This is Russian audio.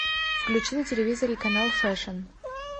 включи на телевизоре канал фэшн